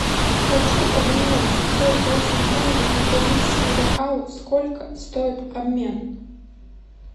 хочу обменять сорок восемь тенге на бразильские реалы сколько стоит обмен